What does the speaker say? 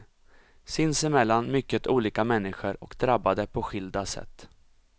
Sinsemellan mycket olika människor och drabbade på skilda sätt.